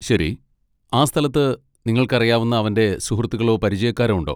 ശരി, ആ സ്ഥലത്ത് നിങ്ങൾക്ക് അറിയാവുന്ന അവന്റെ സുഹൃത്തുക്കളോ പരിചയക്കാരോ ഉണ്ടോ?